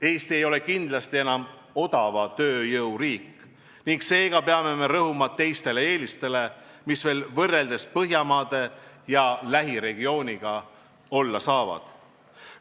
Eesti ei ole kindlasti enam odava tööjõuga riik ning seega peame rõhuma teistele eelistele, mis meil võrreldes Põhjamaade ja lähiregiooniga olla saavad.